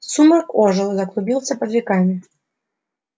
сумрак ожил заклубился под веками